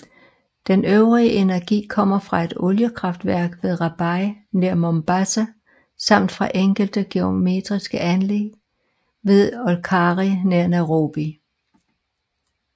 Den øvrige energi kommer fra et oliekraftværk ved Rabai nær Mombasa samt fra enkelte geotermiske anlæg ved Olkaria nær Nairobi